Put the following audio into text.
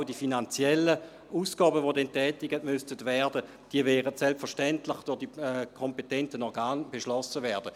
Auch die finanziellen Ausgaben, die dann getätigt werden müssten, werden selbstverständlich durch die kompetenten Organe beschlossen werden.